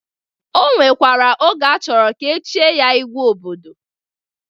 O nwekwere oge ọ chọrọ ka echie ya igwe obodo.